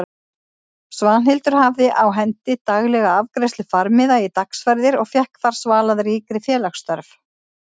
Svanhildur hafði á hendi daglega afgreiðslu farmiða í dagsferðir og fékk þar svalað ríkri félagsþörf.